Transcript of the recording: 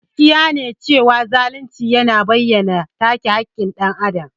Gaskiya ne cewa zalunci yana bayyana take haƙƙin dan Adam.